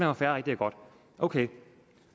var fair og rigtigt og godt ok